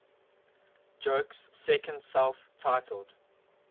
joke's second self titled